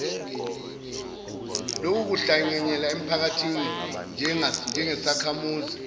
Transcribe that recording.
lokuhlanganyela emphakathini njengesakhamuzi